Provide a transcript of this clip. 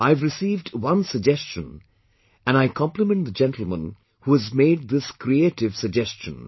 I have received one suggestion and I compliment the gentleman who has made this creative suggestion